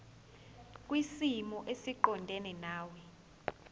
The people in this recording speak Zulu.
kwisimo esiqondena nawe